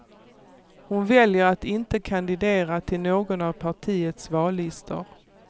Hon väljer att inte kandidera till någon av partiets vallistor.